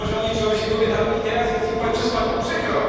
Być może oni czują się kobietami i teraz jest im przez panią przykro.